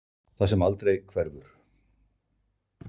Það sem aldrei hverfur.